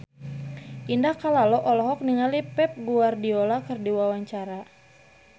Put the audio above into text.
Indah Kalalo olohok ningali Pep Guardiola keur diwawancara